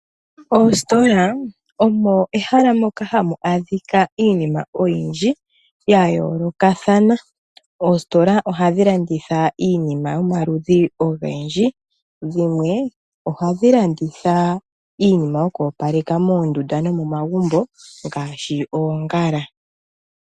Oositola omo mehala moka hamu adhika iinima oyindji ya yoolokathana. Oositola ohadhi landitha iinima yomaludhi ogendji. Dhimwe ohadhi landitha iinima yoku opaleka moondunda nomomagumbo ngaashi oongala.